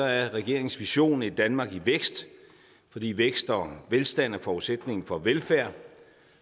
er regeringens vision et danmark i vækst fordi vækst og velstand er forudsætningen for velfærd